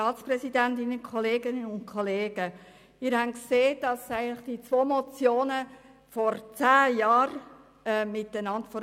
Sie haben gesehen, dass diese zwei Motionen vor acht Jahren gemeinsam behandelt wurden.